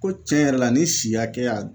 Ko tiɲɛ yɛrɛ la nin si hakɛya